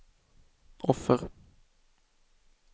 offer